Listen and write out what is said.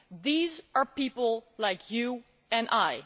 These are people like you and me.